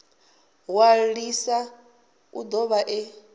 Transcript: ṅwalisa u do vha e